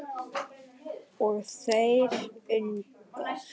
Erla Eyland.